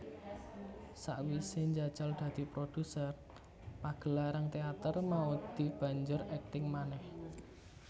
Sawise njajal dadi produser pagelaran teater Maudy banjur akting manéh